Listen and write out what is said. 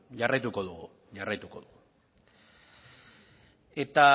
jarraituko dugula